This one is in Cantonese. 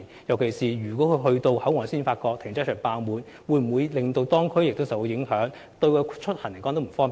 特別是，當駕駛者到達口岸才發現停車場爆滿，這會否令當區受影響呢？